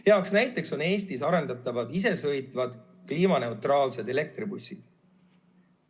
Hea näide on Eestis arendatavad isesõitvad kliimaneutraalsed elektribussid.